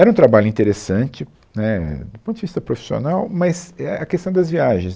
Era um trabalho interessante, né, é, do ponto de vista profissional, mas é a a questão das viagens.